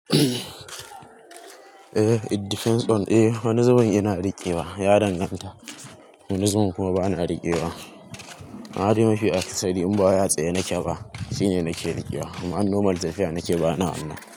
Eh, it depends on-- eh wani zubin ina riƙewa, ya danganta. Wani zubin kuma ba na riƙewa. Amma dai mafi akasari in ba wai a tsaye nake ba, shine nake riƙewa amma in normal tafiya nake ba na wannan.